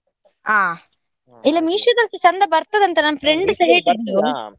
ಹಾ, ಇಲ್ಲ Meesho ದಲ್ಸ ಚಂದ ಬರ್ತದೆ ಅಂತ ಅಲ್ಲ friend ಸಾ .